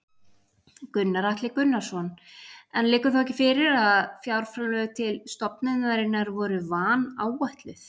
Gunnar Atli Gunnarsson: En liggur þá ekki fyrir að fjárframlög til stofnunarinnar voru vanáætluð?